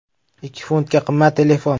“Ikki funtga qimmat” telefon.